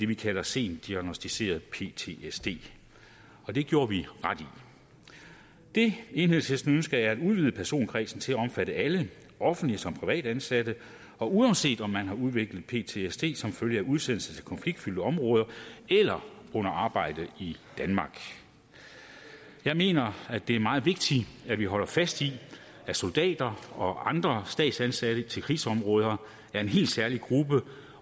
vi kalder sent diagnosticeret ptsd og det gjorde vi ret i det enhedslisten ønsker er at udvide personkredsen til at omfatte alle offentligt og privat ansatte og uanset om man har udviklet ptsd som følge af udsendelse til konfliktfyldte områder eller under arbejde i danmark jeg mener det er meget vigtigt at vi holder fast i at soldater og andre statsansatte udsendt til krigsområder er en helt særlig gruppe